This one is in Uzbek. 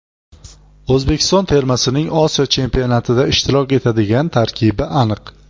O‘zbekiston termasining Osiyo Chempionatida ishtirok etadigan tarkibi aniq.